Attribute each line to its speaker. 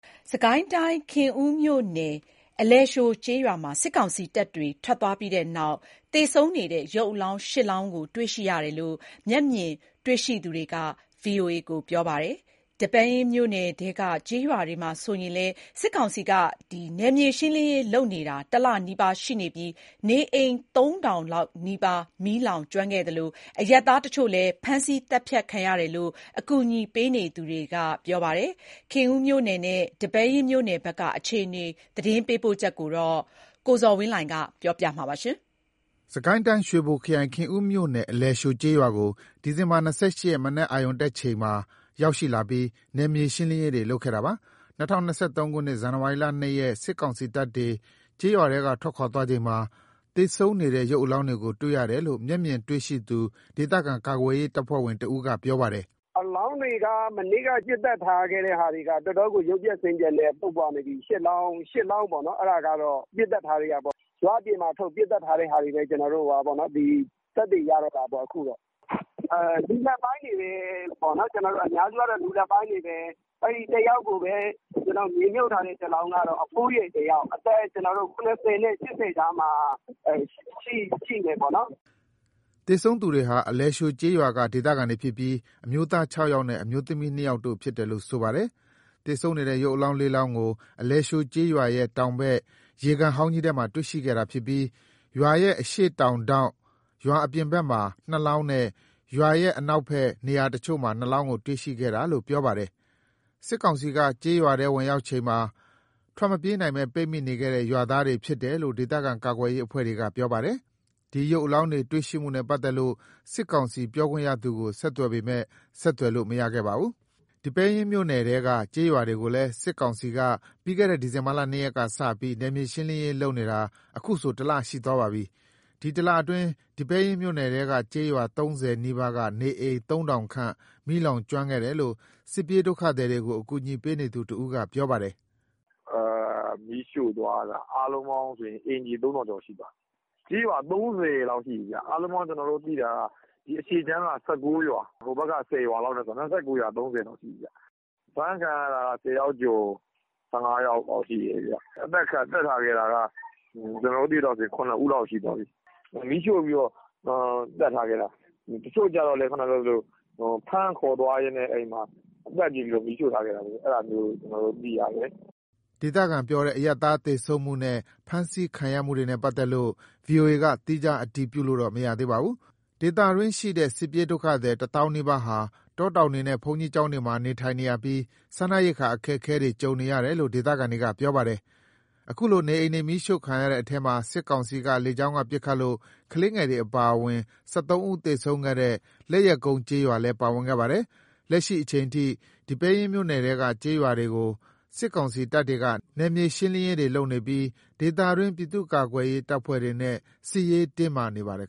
Speaker 1: စစ်ကိုင်းတိုင်း၊ ခင်ဦးမြို့နယ် အလယ်သျှိုကျေးရွာမှာ စစ်ကောင်စီတပ်တွေ ထွက်သွားပြီးတဲ့နောက် အလောင်း ၈ လောင်း တွေ့ရှိရတယ်လို့ မျက်မြင်တွေ့ရှိသူတွေက ပြောပါတယ်။ ဒီပဲယင်းမြို့နယ်ထဲက ကျေးရွာတွေမှာလည်း စစ်ကောင်စီက နယ်မြေရှင်းလင်းရေးလုပ်နေတာ ၁ လနီးပါးရှိနေပြီး နေအိမ် ၃,၀၀၀ ခန့် မီးလောင်ကျွမ်းခဲ့သလို အရပ်သားတချို့ ဖမ်းဆီးသတ်ဖြတ်ခံရတယ်လို့ အကူအညီပေးနေသူတွေက ပြောပါတယ်။ ခင်ဦးမြို့နယ်နဲ့ ဒီပဲယင်းမြို့နယ်ဘက်က အခြေအနေ သတင်းပေးပို့ချက်ကို ကိုဇော်ဝင်းလှိုင်က တင်ပြပေးထားပါတယ်။
Speaker 2: စစ်ကိုင်းတိုင်း၊ ရွှေဘိုခရိုင် ခင်ဦးမြို့နယ် အလယ်သျှိုကျေးရွာကို ဒီဇင်ဘာ ၂၈ ရက် မနက်အရုဏ်တက်ချိန်မှာရောက်လာပြီး နယ်မြေရှင်းလင်းရေးလုပ်ခဲ့တာပါ။ ၂၀၂၃ ခုနှစ် ဇန်နဝါရီ ၂ ရက် စစ်ကောင်စီတပ်တွေ ကျေးရွာထဲကထွက်ခွာချိန်မှာ သေဆုံးနေတဲ့ ရုပ်အလောင်းတွေကို တွေ့ရတယ်လို့ မျက်မြင်တွေ့ရှိသူ ဒေသခံကာကွယ်ရေးတပ်ဖွဲ့ဝင်တဦးက ပြောပါတယ်။
Speaker 3: “အလောင်းတွေက မနေ့က ပစ်သတ်ထားတဲ့ဟာတွေက တော်တော့်ကို ရုပ်ပျက်ဆင်းပျက်နဲ့ ပုပ်ပွနေပြီ။ ၈ လောင်းပေါ့။ အဲ့ဒါကတော့ ပစ်သတ်ထားတဲ့ဟာပေါ့။ ရွာအပြင်ထုတ်ပြီး ပစ်သတ်ထားတဲ့ဟာတွေပဲ သက်သေရတော့တာပေါ့။ လူလတ်ပိုင်းတွေပဲ။ အများစုက လူလတ်ပိုင်းတွေပဲ။ မြေမြှုပ်ထားတဲ့ တလောင်းက အဖိုးကြီး။ အသက် ၇၀ နဲ့ ၈၀ ကြားမှာရှိတယ်။
Speaker 2: ” သေဆုံးသူတွေဟာ အလယ်သျှိုကျေးရွာက ဒေသခံတွေဖြစ်ပြီး အမျိုးသား ၆ ယောက်နဲ့ အမျိုးသမီး ၂ ယောက်တို့ဖြစ်တယ်လို့ ဆိုပါတယ်။ ရုပ်အလောင်း ၄ လောင်းကို အလယ် သျှိုရွာရဲ့တောင်ဘက် ရေကန်ဟောင်းကြီးထဲမှာ တွေ့ရှိခဲ့တာဖြစ်ပြီး၊ ရွာရဲ့ အရှေ့တောင်ထောင့် ရွာအပြင်ဘက်မှာ နှစ်လောင်းနဲ့ ရွာရဲ့ နောက်ထပ် နေရာအချို့ မှာ နှစ်လောင်းတွေ့ခဲ့တာလို့ ပြောပါတယ်။ စစ်ကောင်စီက ကျေးရွာထဲဝင်ရောက်ချိန်မှာ ထွက်မပြေးနိုင်ဘဲ ပိတ်မိနေခဲ့တဲ့ ရွာသားတွေဖြစ်တယ်လို့ ဒေသခံကာကွယ်ရေးအဖွဲ့က ပြောပါတယ်။ ဒီ ရုပ်အလောင်းတွေနဲ့ပတ်သက်လို့ စစ်ကောင်စီပြောခွင့်ရသူကို ဆက်သွယ်ပေမယ့် ဆက်သွယ်လို့မရခဲ့ပါဘူး။ စစ်ကိုင်းတိုင်း ဒီပဲယင်းမြို့နယ်ထဲက ကျေးရွာတွေကိုလည်း စစ်ကောင်စီက ပြီးခဲ့တဲ့နှစ် ဒီဇင်ဘာ ၂ ရက်က စပြီး နယ်မြေရှင်းလင်းရေးလုပ်နေတာ အခုဆို ၁ လရှိသွားပါပြီ။ ဒီ ၁ လအတွင်း ဒီပဲယင်းမြို့နယ်ထဲက ကျေးရွာ ၃၀ နီးပါးက နေအိမ် ၃,၀၀၀ ခန့် မီးလောင် ကျွမ်းခဲ့တယ်လို့ စစ်ပြေးဒုက္ခသည်တွေကို အကူအညီပေးနေသူတဦးက ပြောပါတယ်
Speaker 3: ။ “မီးရှို့သွားတာ အားလုံးပေါင်းဆို အိမ်ခြေ ၃ ထောင်လောက်ရှိသွားပြီ။ ကျေးရွာ ၃၀ လောက်ရှိပြီ။ အားလုံးပေါင်း ကျနော်တို့သိတာက အရှေ့ခြမ်းက ၁၀ ရွာ။ ဟိုဘက်ခြမ်း က ၁၉ ရွာနဲ့ဆို ၂၉ ရွာ၊ ၃၀ လောက်ရှိပြီ။ အဖမ်းခံရတာ ၁၀ ယောက်ကျော် ၁၅ ယောက်လောက်ရှိတယ်။ အသတ်ခံရတာက ကျနော်တို့ သိသလောက်ဆို ၇ ဦးလောက်ရှိသွားပြီ။ မီးရှို့ပြီးတော့ သတ်ထားခဲ့တာ။ တချို့ကျတော့လည်း ဖမ်းခေါ်သွားရင်း သတ်ပစ်ပြီးမီးရှို့ထားခဲ့တာ။ အဲ့ဒါမျိုး ကျနော်တို့ သိရတ
Speaker 2: ယ်။” ဒေသခံပြောတဲ့ အရပ်သားသေဆုံးမှုနဲ့ ဖမ်းဆီးခံရမှုတွေနဲ့ ပတ်သက်လို့ VOA က သီးခြားအတည်ပြုလို့မရသေးပါဘူး။ ဒေသတွင်းရှိတဲ့ စစ်ပြေးဒုက္ခသည် တသောင်းနီးပါးဟာ တောတောင်တွေနဲ့ ဘုန်းကြီးကျောင်းတွေမှာ နေထိုင်နေရပြီး စားနပ်ရိက္ခာ အခက်အခဲ ကြုံနေရတယ်လို့ ဒေသခံတွေကပြောပါတယ်။ အခုလို နေအိမ်တွေမီးရှို့ခံရတဲ့အထဲမှာ စစ်ကောင်စီက လေကြောင်းက ပစ်ခတ်လို့ ကလေးငယ်တွေ အပါအဝင် ၁၃ ဦးသေဆုံးခဲ့တဲ့ လက်ယက်ကုန်းကျေးရွာလည်း ပါဝင်ခဲ့ပါတယ်။ လက်ရှိအချိန်ထိ ဒီပဲယင်းမြို့နယ်ထဲကကျေးရွာတွေကို စစ်ကောင်စီတပ်တွေက နယ်မြေရှင်းလင်းရေးတွေလုပ်နေပြီး ဒေသတွင်း ပြည်သူ့ကာကွယ်ရေး တပ်ဖွဲ့တွေနဲ့ စစ်ရေးတင်းမာနေပါတယ်